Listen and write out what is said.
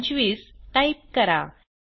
25 type करा